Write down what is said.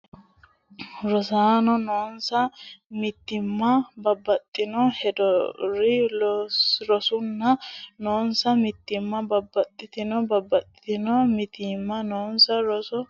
rosaano noonsa mitiimma Babbaxxitino heedhuro rosaano noonsa mitiimma Babbaxxitino Babbaxxitino mitiimma noonsa rosaano heedhuro kaa la habbooti Lowo geeshsha faayyaho !